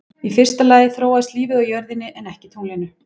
Í fyrsta lagi þróaðist lífið á jörðinni en ekki tunglinu.